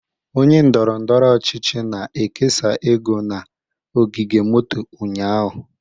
Onye ndọrọ ndọrọ ọchịchị na-ekesa ego na ogige moto ụnyaahụ